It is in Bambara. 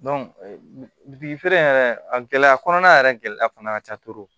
feere in yɛrɛ a gɛlɛya kɔnɔna yɛrɛ gɛlɛya fana ka ca